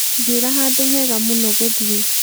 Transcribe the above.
njĩra handũ hega mũno gũthiĩ